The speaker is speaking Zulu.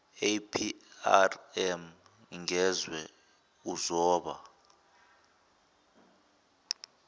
aprm ngezwe uzoba